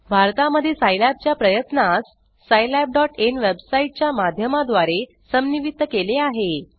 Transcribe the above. भारता मध्ये सिलाब च्या प्रयत्नास Scilabinवेबसाइट च्या मध्यमा द्वारे समन्वित केले आहे